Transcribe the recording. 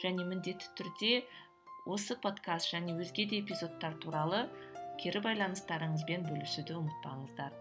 және міндетті түрде осы подкаст және өзге де эпизодтар туралы кері байланыстарыңызбен бөлісуді ұмытпаңыздар